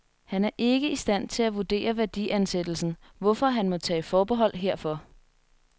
Han er ikke i stand til at vurdere værdiansættelsen, hvorfor han må tage forbehold herfor.